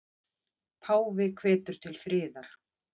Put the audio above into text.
Páfi hvetur til friðar